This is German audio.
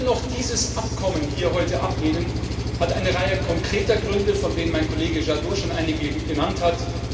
Dass wir dennoch dieses Abkommen heute ablehnen, hat eine Reihe konkreter Gründe, von denen mein Kollege Jadot schon einige genannt hat.